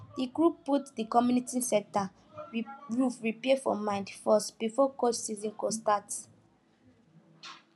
the group put the community center roof repair for mind first before cold season go start